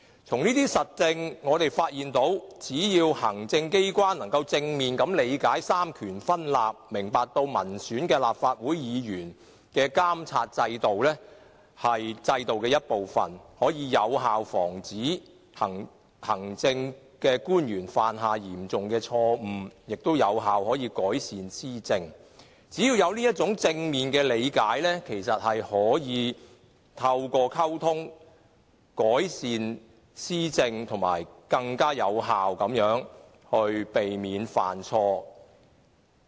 從這些實證中，我們發現只要行政機關可以正面理解三權分立，明白民選立法會議員的監察制度是制度的一部分，便可以有效防止行政官員犯下嚴重錯誤，亦可有效改善施政，只要有這種正面的理解，便可以透過溝通改善施政，以及更有效地避免犯錯。